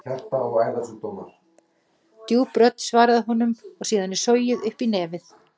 Djúp rödd svarar honum og síðan er sogið upp í nef.